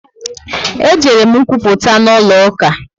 E jere m nkwuputa n'ụlọ uka